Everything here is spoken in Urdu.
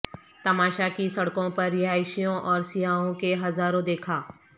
تماشا کی سڑکوں پر رہائشیوں اور سیاحوں کے ہزاروں دیکھا